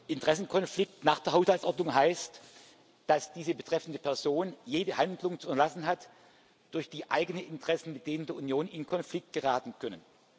Interessenkonflikt nach der Haushaltsordnung heißt, dass diese betreffende Person jede Handlung zu unterlassen hat, durch die eigene Interessen mit denen der Union in Konflikt geraten können.